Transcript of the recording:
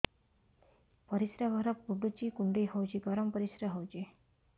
ପରିସ୍ରା ଘର ପୁଡୁଚି କୁଣ୍ଡେଇ ହଉଚି ଗରମ ପରିସ୍ରା ହଉଚି